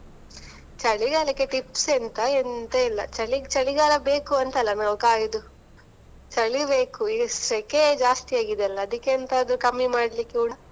ಚಳಿಗಾಲಕ್ಕೆ tips ಎಂತಾ ಎಂತಾ ಇಲ್ಲಾ, ಚಳಿಗಾಲ ಬೇಕಂತಲ ನಾವು ಕಾಯುದು. ಚಳಿ ಬೇಕು ಈಗ ಸೆಕೆ ಜಾಸ್ತಿ ಆಗಿದೆ ಅಲ್ಲ, ಅದ್ದಿಕ್ಕೆ ಎಂತಾದ್ರೂ ಕಮ್ಮಿ ಮಾಡ್ಲಿಕ್ಕೆ ಕುಡಾ?